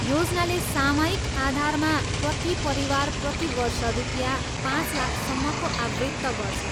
योजनाले सामयिक आधारमा प्रति परिवार प्रति वर्ष रुपियाँ पाँच लाखसम्मको आवृत्त गर्छ।